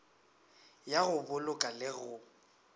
ya go boloka le go